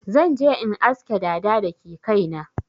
Zan je in aske dada da ke kai na.